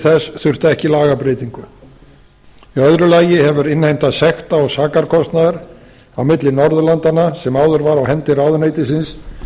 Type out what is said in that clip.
þess þurfti ekki lagabreytingu í öðru lagi hefur innheimta sekta og sakarkostnaðar á milli norðurlandanna sem áður var á hendi ráðuneytisins